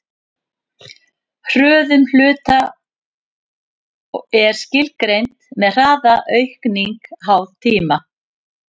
hröðun hluta er skilgreind sem hraðaaukning háð tíma